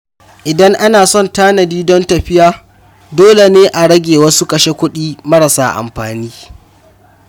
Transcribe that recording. Idan ana son tanadi don tafiya, dole ne a rage wasu kashe-kuɗi marasa muhimmanci.